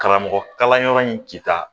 Karamɔgɔ kalanyɔrɔ in ci k'a